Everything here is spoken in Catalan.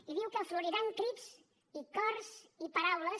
i diu que floriran crits i cors i paraules